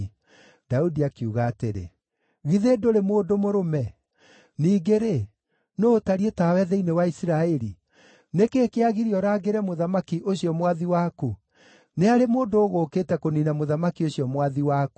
Daudi akiuga atĩrĩ, “Githĩ ndũrĩ mũndũ mũrũme? Ningĩ-rĩ, nũũ ũtariĩ ta we thĩinĩ wa Isiraeli? Nĩ kĩĩ kĩagiria ũrangĩre mũthamaki, ũcio mwathi waku? Nĩ harĩ mũndũ ũgũũkĩte kũniina mũthamaki ũcio mwathi waku.